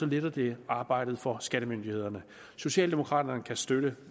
letter det arbejdet for skattemyndighederne socialdemokraterne kan støtte